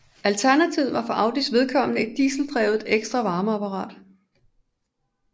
Alternativet var for Audis vedkommende et dieseldrevet ekstra varmeapparat